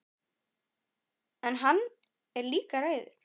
En hann er líka reiður.